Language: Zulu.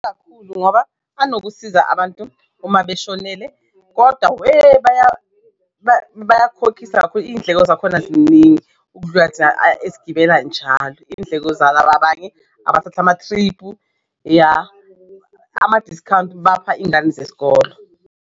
Ngoba banokusiza abantu uma beshonele kodwa weh bayakukhokhisa kakhulu iy'ndleko zakhona ziningi esigibela njalo iy'ndleko zalaba abanye abathatha amathriphu ya, ama-discount bapha ingane zesikolo.